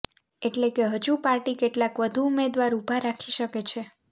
એટલે કે હજુ પાર્ટી કેટલાક વધુ ઉમેદવાર ઉભા રાખી શકે છે